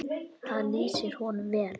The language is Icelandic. Það lýsir honum vel.